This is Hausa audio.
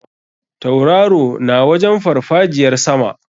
Tauraro na wajen farfajiyar sama.